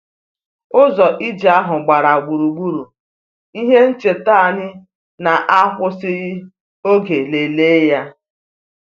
Ụzọ ije ahụ gbara gburugburu ihe ncheta anyị na-akwụsịghị oge lelee ya